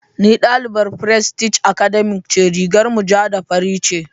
Ni dalibar prestige Academy ce rigar mu ja da fari ce.